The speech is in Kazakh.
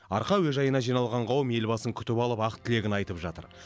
арқа әуежайына жиналған қауым елбасын күтіп алып ақ тілегін айтып жатыр